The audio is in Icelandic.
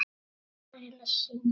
Er hann farinn að syngja?